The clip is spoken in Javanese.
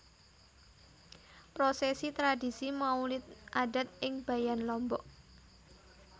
Prosesi Tradisi Maulid Adat ing Bayan Lombok